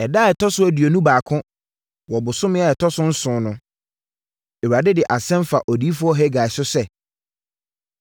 Ɛda a ɛtɔ so aduonu baako wɔ bosome a ɛtɔ so nson no, Awurade de asɛm faa Odiyifoɔ Hagai so sɛ: